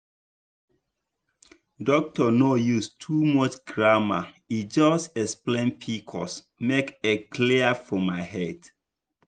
doctor no use too much grammar e just explain pcos make e clear for my head.